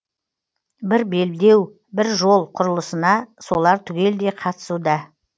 бір белдеу бір жол құрылысына солар түгелдей қатысуда